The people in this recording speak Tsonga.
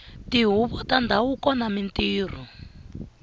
tihuvo ta ndhavuko na mintirho